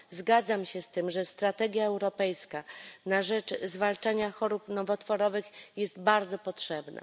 Zgadzam się z tym, że strategia europejska na rzecz zwalczania chorób nowotworowych jest bardzo potrzebna.